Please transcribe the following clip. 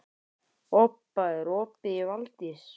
Obba, er opið í Valdís?